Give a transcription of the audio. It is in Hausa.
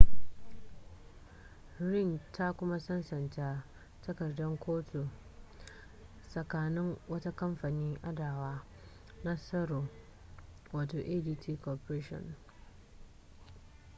ring ta kuma sasanta takardar kotu tsakanin wata kamfanin adawa na tsaro wato adt corporation